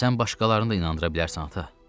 Sən başqalarını da inandıra bilərsən, ata.